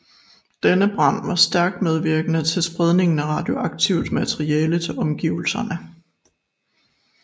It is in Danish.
Denne brand var stærkt medvirkende til spredningen af radioaktivt materiale til omgivelserne